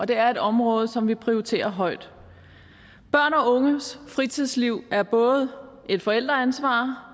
det er et område som vi prioriterer højt børns og unges fritidsliv er både et forældreansvar